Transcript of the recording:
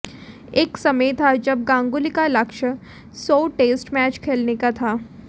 एक समय था जब गांगुली का लक्ष्य सौ टेस्ट मैच खेलने का था